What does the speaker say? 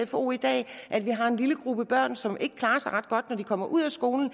sfo i dag og at vi har en lille gruppe børn som ikke klarer sig ret godt når de kommer ud af skolen